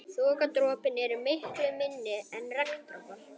Þokudroparnir eru miklu minni en regndropar.